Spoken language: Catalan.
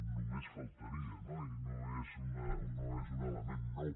només faltaria no i no és un element nou